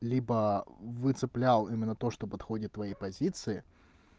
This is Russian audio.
либо вы цеплял именно то что подходит твои позиции